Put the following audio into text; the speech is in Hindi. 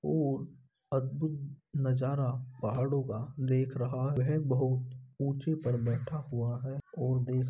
और अद्भुत नजारा पहाड़ो का देख रहा है। बोहोत ऊँचे पर बैठा हुआ है और देख --